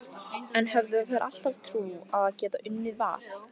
En höfðu þær alltaf trú á að geta unnið Val?